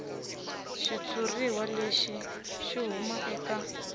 xitshuriwa lexi xi huma eka